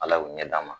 Ala y'u ɲɛ d'a ma